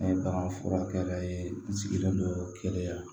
N'a ye bagan furakɛ yɛrɛ ye n sigilen don kɛlɛya la